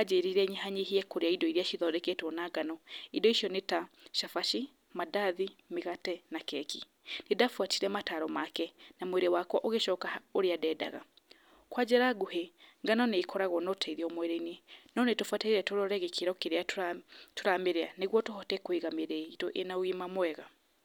ajĩrire nyihanyihie kũrĩa indo iria cithondeketwo na ngano, indo icio nĩta cabaci, mandathi, mĩgate, na keki, nĩ ndabuatire mataro make, na mwĩrĩ wake ũgĩcoka ũrĩa ndendaga, kwa njĩra nguhĩ ngano nĩkoragwo notethio mwĩrĩ-inĩ, no nĩ tũbataire tũrore gĩkĩro kĩrĩa tũra tũramĩria, nĩguo tũhote kwĩga mĩrĩ itũ ĩnogima mwega.